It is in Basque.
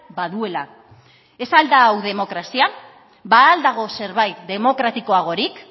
baduela ez al da hau demokrazia ba al dago zerbait demokratikoagorik